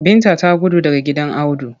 Binta ta gudu daga gidan Audu.